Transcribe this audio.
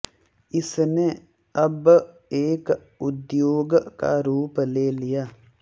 इसने अब एक उद्योग का रूप ले लिया है